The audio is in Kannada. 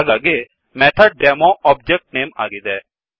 ಹಾಗಾಗಿ MethodDemoಮೆಥಡ್ ಡೆಮೊ ಒಬ್ಜೆಕ್ಟ್ ನೇಮ್ ಆಗಿದೆ